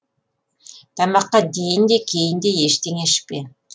тамаққа дейін де кейін де ештеңе ішпе